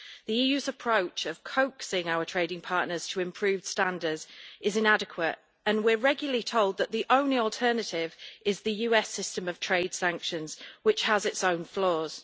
The EU's approach of coaxing our trading partners to improve standards is inadequate, and we are regularly told that the only alternative is the US system of trade sanctions, which has its own flaws.